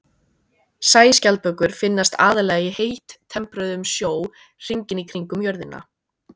Sæskjaldbökur finnast aðallega í heittempruðum sjó hringinn í kringum jörðina.